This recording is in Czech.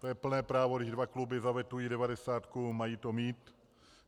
To je plné právo, když dva kluby zavetují devadesátku, mají to mít.